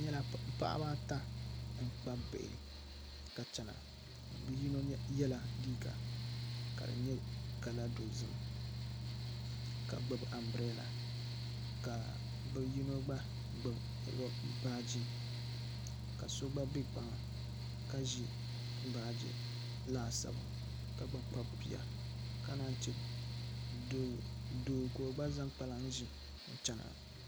N nyɛla paɣaba ata ka bi kpabi bihi ka chɛna bi yino yɛla liiga ka di nyɛ kala dozim ka gbubi anbirɛla ka bi yino gba gbubi baaji ka so gba bɛ kpaŋa ka ʒi baaji laasabu ka gba kpabi bia ka naan yi chɛ doo ka o gba zaŋ kpalaŋ ʒi n chɛna